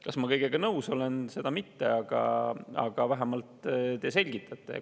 Kas ma kõigega nõus olen, seda mitte, aga vähemalt te selgitate seda.